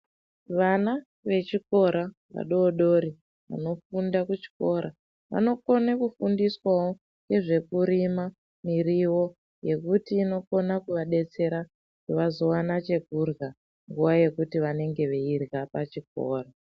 Vana vechikora vadodori vanofunda kuchikora vanokone kufundiswawo nezvekurima muriwo nekuti inokona kuvadetsera kuti vazowana chekurya nguva yekuti vanenge veirya pachikora